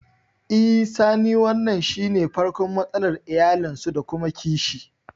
I sani wannan shine farkon matsalar iyalinsu da kuma kishi